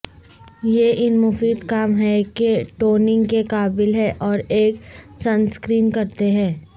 یہ ان مفید کام ہے کہ نوٹنگ کے قابل ہے اور ایک سنسکرین کرتے ہیں